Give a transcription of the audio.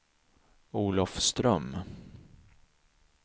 Olofström